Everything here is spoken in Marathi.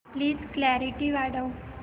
प्लीज क्ल्यारीटी वाढव